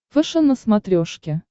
фэшен на смотрешке